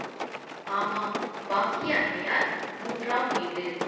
ஆமாம் பாக்கிய அம்மையார் மூன்றாம் வீடு